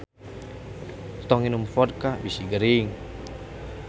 Tong nginum vodka bisi gering